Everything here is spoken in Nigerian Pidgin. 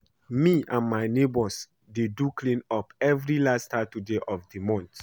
Me and my neighbours dey do clean up every last Saturday of the month